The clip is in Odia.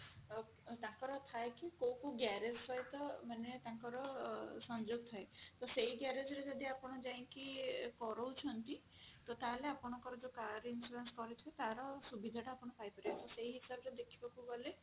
ଆଁ ତାଙ୍କର ଥାଏ କି କୋଉ କୋଉ garage ସହିତ ମାନେ ତାଙ୍କର ସଂଯୋଗ ଥାଏ ତ ସେଇ garage ରେ ଯଦି ଆପଣ ଯାଇକି କରଉଛନ୍ତି ତ ତାହେଲେ ଆପଣଙ୍କର ଯୋଉ car insurance କରିଛନ୍ତି ତାର ସୁବିଧା ଟା ଆପଣ ପାଇପାରିବେ ତ ସେହି ହିସାବରେ ଦେଖିବାକୁ ଗଲେ